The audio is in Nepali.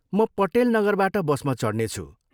म पटेल नगरबाट बसमा चढ्नेछु।